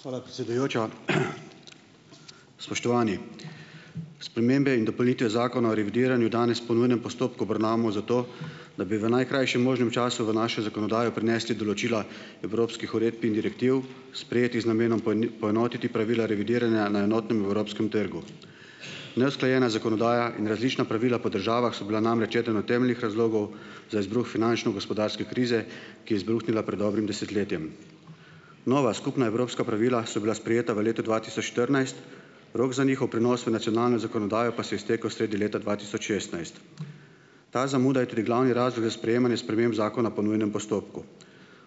Hvala, predsedujoča. Spoštovani! Spremembe in dopolnitve zakona o revidiranju danes po nujnem postopku obravnavamo zato, da bi v najkrajšem možnem času v našo zakonodajo prinesli določila evropskih uredb in direktiv, sprejetih z namenom poenotiti pravila revidiranja na enotnem evropskem trgu. Neusklajena zakonodaja in različna pravila po državah so bila namreč eden od temeljnih razlogov za izbruh finančno-gospodarske krize, ki je izbruhnila pred dobrim desetletjem. Nova skupna evropska pravila so bila sprejeta v letu dva tisoč štirinajst, rok za njihov prenos v nacionalno zakonodajo pa se je iztekel sredi leta dva tisoč šestnajst. Ta zamuda je tudi glavni razlog za sprejemanje sprememb zakona po nujnem postopku.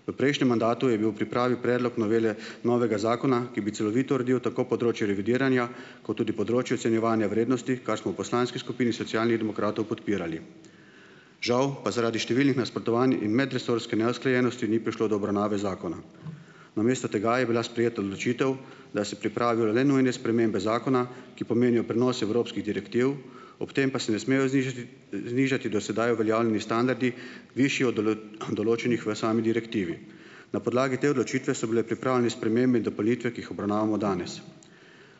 V prejšnjem mandatu je bil v pripravi predlog novele novega zakona, ki bi celovito uredil tako področje revidiranja, kot tudi področje ocenjevanja vrednosti, kar smo v poslanski skupini Socialnih demokratov podpirali. Žal pa zaradi številnih nasprotovanj in medresorske neusklajenosti ni prišlo do obravnave zakona. Namesto tega je bila sprejeta odločitev, da se pripravijo le nujne spremembe zakona, ki pomenijo prenos evropskih direktiv, ob tem pa se ne smejo znižati, znižati do sedaj uveljavljeni standardi, višji od določenih v sami direktivi. Na podlagi te odločitve so bile pripravljene spremembe in dopolnitve, ki jih obravnavamo danes.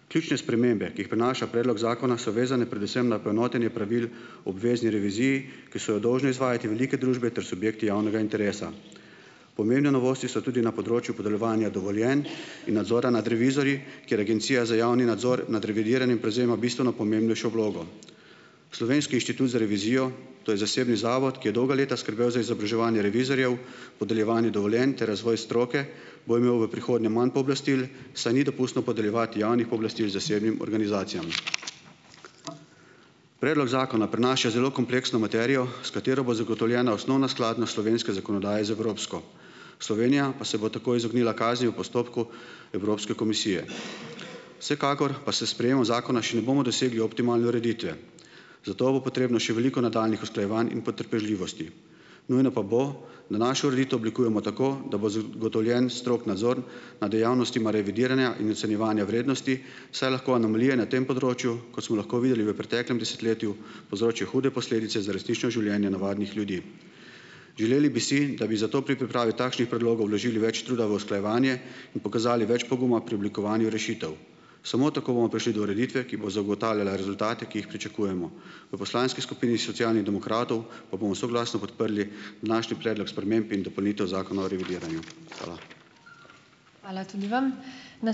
Ključne spremembe, ki jih prinaša predlog zakona so vezane predvsem na poenotenje pravil obvezni reviziji, ki so jo dolžne izvajati velike družbe ter subjekti javnega interesa. Pomembne novosti so tudi na področju podeljevanja dovoljenj in nadzora nad revizorji, kjer Agencija za javni nadzor nad revidiranim prevzema bistveno pomembnejšo vlogo. Slovenski inštitut za revizijo, to je zasebni zavod, ki je dolga leta skrbel za izobraževanje revizorjev, podeljevanja dovoljenj ter razvoj stroke, bo imel v prihodnje manj pooblastil, saj ni dopustno podeljevati javnih pooblastil zasebnim organizacijam. Predlog zakona prinaša zelo kompleksno materijo, s katero bo zagotovljena osnovna skladnost slovenske zakonodaje z evropsko. Slovenija pa se bo tako izognila kazni v postopku Evropske komisije. Vsekakor pa s sprejemom zakona še ne bomo dosegli optimalne ureditve, za to bo potrebno še veliko nadaljnjih usklajevanj in potrpežljivosti. Nujno pa bo, da našo ureditev oblikujemo tako, da bo zagotovljen strog nadzor nad dejavnostma revidiranja in ocenjevanja vrednosti, saj lahko anomalije na tem področju, kot smo lahko videli v preteklem desetletju, povzročijo hude posledice za resnična življenja navadnih ljudi. Želeli bi si, da bi zato pri pripravi takšnih predlogov vložili več truda v usklajevanje in pokazali več poguma pri oblikovanju rešitev. Samo tako bomo prišli do ureditve, ki bo zagotavljala rezultate, ki jih pričakujemo. V poslanski skupini Socialnih demokratov pa bomo soglasno podprli današnji Predlog sprememb in dopolnitev Zakona o revidiranju. Hvala.